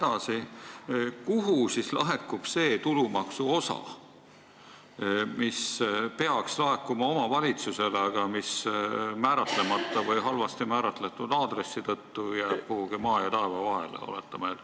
Aga kuhu laekub see tulumaksuosa, mis peaks minema omavalitsusele, kuid mis määratlemata või halvasti määratletud aadressi tõttu jääb kuhugi maa ja taeva vahele?